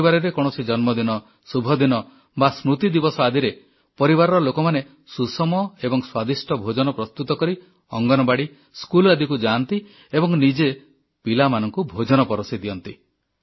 ପରିବାରରେ କୌଣସି ଜନ୍ମଦିନ ଶୁଭଦିନ ବା ସ୍ମୃତି ଦିବସ ଆଦିରେ ପରିବାରର ଲୋକମାନେ ସୁଷମ ଏବଂ ସ୍ୱାଦିଷ୍ଟ ଭୋଜନ ପ୍ରସ୍ତୁତ କରି ଅଙ୍ଗନବାଡ଼ି ସ୍କୁଲ ଆଦିକୁ ଯାଆନ୍ତି ଏବଂ ନିଜେ ପିଲାମାନଙ୍କୁ ଭୋଜନ ପରଷି ଦିଅନ୍ତି